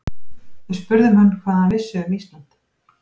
Við spurðum hann hvað hann vissi um Ísland?